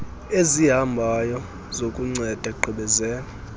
ezihambayo zokunceda gqibezela